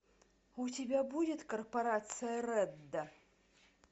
у тебя будет корпорация редда